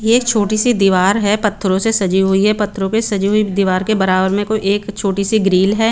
ये छोटी सी दिवार है पथरो से सजी हुई है पथरो पे सजी हुई दिवार के बरा बर में कोई एक छोटी सी ग्रिल है।